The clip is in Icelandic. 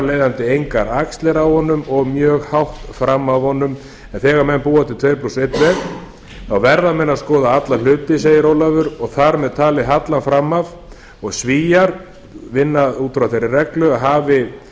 leiðandi engar axlir á honum og mjög hátt fram af honum en þegar menn búa til tvo einn veg þá verða menn að skoða alla hluti segir ólafur og þar með talinn hallann fram af og svíar vinna út frá þeirri reglu að hafi